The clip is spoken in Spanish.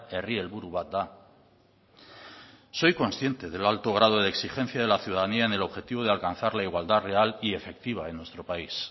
herri helburu bat da soy consciente del alto grado de exigencia de la ciudadanía en el objetivo de alcanzar la igualdad real y efectiva en nuestro país